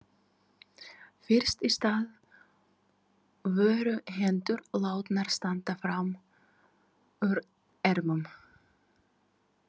Fyrst í stað voru hendur látnar standa fram úr ermum.